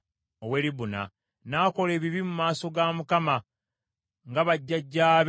N’akola ebibi mu maaso ga Mukama nga bajjajjaabe bwe baakola.